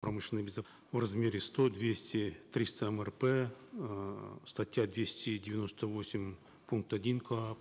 промышленной в размере сто двести триста мрп эээ статья двести девяносто восемь пункт один коап